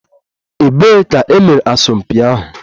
Ebee ka e mere asọmpi ahụ?